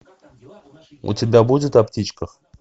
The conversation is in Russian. у тебя будет о птичках